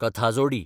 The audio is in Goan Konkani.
कथाजोडी